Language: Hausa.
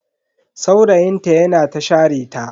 Saurayin ta yana ta share ta.